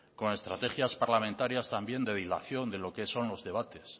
con estrategias parlamentarias también de dilación de lo que son los debates